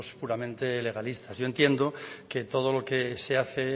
puramente legalistas yo entiendo que todo lo que se hace